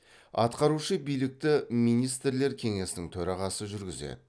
атқарушы билікті министрлер кеңесінің төрағасы жүргізеді